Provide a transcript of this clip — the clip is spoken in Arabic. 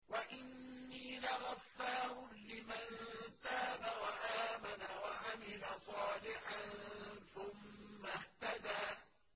وَإِنِّي لَغَفَّارٌ لِّمَن تَابَ وَآمَنَ وَعَمِلَ صَالِحًا ثُمَّ اهْتَدَىٰ